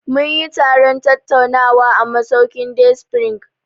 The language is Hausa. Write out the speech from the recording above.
Mun yi taron tattaunawa a masaukin Day spring.